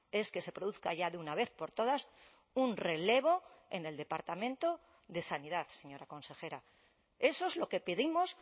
es que se produzca ya de una vez por todas un relevo en el departamento de sanidad señora consejera eso es lo que pedimos